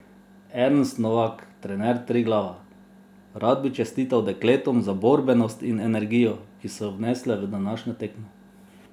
Ernest Novak, trener Triglava: "Rad bi čestital dekletom za borbenost in energijo, ki so jo vnesle v današnjo tekmo.